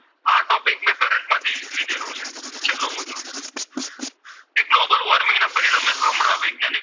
હમણાં વૈજ્ઞાનિક,